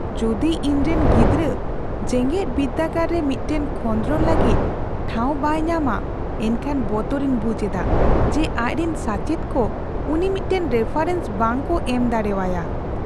ᱡᱚᱫᱤ ᱤᱧᱨᱮᱱ ᱜᱤᱫᱽᱨᱟᱹ ᱡᱮᱜᱮᱫᱵᱤᱨᱫᱟᱹᱜᱟᱲ ᱨᱮ ᱢᱤᱫᱴᱟᱝ ᱠᱷᱚᱸᱫᱽᱨᱚᱱ ᱞᱟᱹᱜᱤᱫ ᱴᱷᱟᱶ ᱵᱟᱭ ᱧᱟᱢᱼᱟ, ᱮᱱᱠᱷᱟᱱ ᱵᱚᱛᱚᱨᱤᱧ ᱵᱩᱡᱷ ᱮᱫᱟ ᱡᱮ ᱟᱡᱨᱮᱱ ᱥᱟᱪᱮᱫ ᱠᱚ ᱩᱱᱤ ᱢᱤᱫᱴᱟᱝ ᱨᱮᱯᱷᱟᱨᱮᱱᱥ ᱵᱟᱝᱠᱚ ᱮᱢ ᱫᱟᱲᱣᱟᱭᱟ ᱾